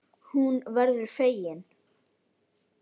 Hún verður fegin.